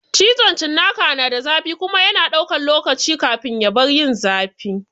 Cizon cinnaka na da zafi kuma yana ɗaukan lokaci kafin ya bar yin zafi.